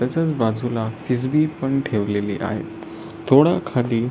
त्याच्याच बाजूला किसबी पण ठेवलेली आहे थोडं खाली--